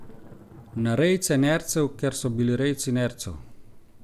Na rejce nercev, ker so bili rejci nercev.